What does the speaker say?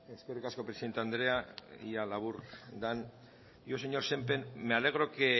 eskerrik asko presidente andrea ea labur den yo señor sémper me alegro que